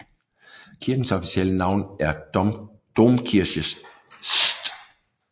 Kirkens officielle navn er Domkirche St